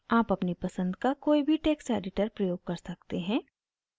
आप अपनी पसंद का कोई भी टेक्स्ट एडिटर प्रयोग कर सकते हैं